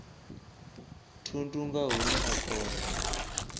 thundu nga hune a kona